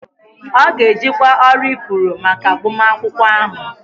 Ọ ga-ejikwa ọrụ ifuru maka agbamakwụkwọ ahụ